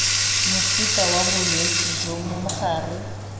mofuta wa bolwetse jo mogare